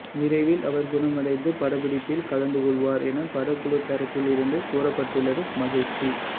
விரைவில் அவர் குணமடைந்து படப்பிடிப்பில் கலந்து கொள்வார் என படக்குழு தரப்பில் இருந்து கூறப்பட்டுள்ளது மகிழ்ச்சி